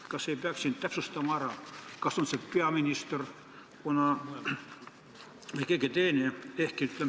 Kas ei peaks täpsustama ära, kas see on peaminister või keegi teine?